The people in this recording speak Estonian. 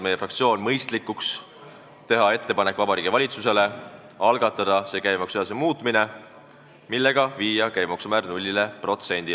Meie fraktsioon on pidanud mõistlikuks teha Vabariigi Valitsusele ettepanek algatada käibemaksuseaduse muutmine, millega alandada kõnealune käibemaksu määr 0%-ni.